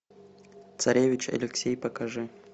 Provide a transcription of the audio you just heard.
царевич алексей покажи